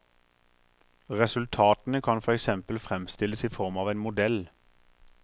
Resultatene kan for eksempel fremstilles i form av en modell.